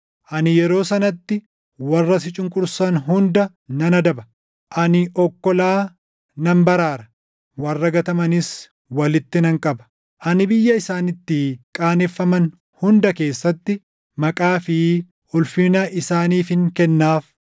Ani yeroo sanatti warra si cunqursan hunda nan adaba; ani okkolaa nan baraara; warra gatamanis walitti nan qaba. Ani biyya isaan itti qaaneffaman hunda keessatti maqaa fi ulfina isaaniifin kennaaf.